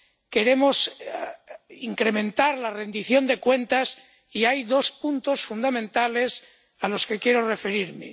queremos incrementar la rendición de cuentas y hay dos puntos fundamentales a los que quiero referirme.